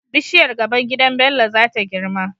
Bishiyar gaban gidan Bello zata girma